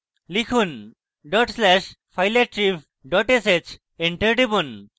লিখুন dot slash fileattrib dot sh enter টিপুন